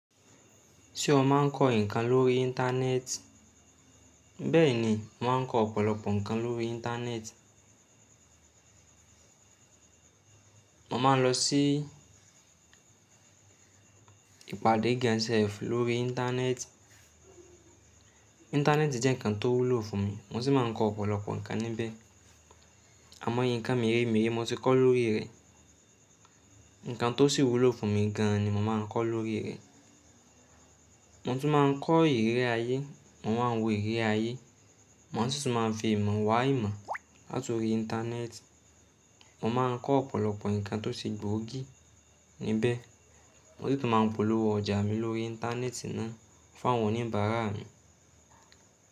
Ṣé o máa ń kọ́ ǹkan lórí Íńtánẹ́ẹ̀tì? Bẹ́ẹ̀ni, mà á ń kọ́ ọ̀pọ̀lọpọ̀ ǹkan lórí Íńtánẹ́ẹ̀tì. Mo máa ń lọ sí ìpàdé gan self lórí Íńtánẹ́ẹ̀tì. Íńtánẹ́ẹ̀tì jẹ́ ǹkan tó wúlò fún mi, mo sì máa ń kọ́ ọ̀pọ̀lọpọ̀ ǹkan níbẹ̀. Àmọ́ye, ǹkan méremére mo ti kọ́ lórí rẹ̀. Ǹkan tó sì wúlò fún mi gan ni mo máa ń kọ́ lórí rẹ̀. Mo tún máa ń kọ́ ìríri ayé, mo máa ń wo ìríri ayé. Mo sì tún ma fi ìmọ̀ wá ìmọ̀ láti ori Íńtánẹ́ẹ̀tì. Mo máa ń kọ́ ọ̀pọ̀lọpọ̀ ǹkan tó se gbòógì níbẹ̀. Mo sì tún máa ń polówó ọjà mi lórí Íńtánẹ́ẹ̀tì náà fún àwọn oníbàárà mi.